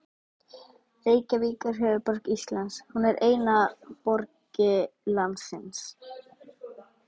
Reykjavík er höfuðborg Íslands. Hún er eina borg landsins.